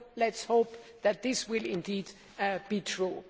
Let us hope that this will indeed be true.